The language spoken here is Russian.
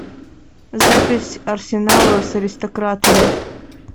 запись арсенала с аристократами